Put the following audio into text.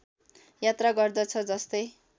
यात्रा गर्दछ जस्तै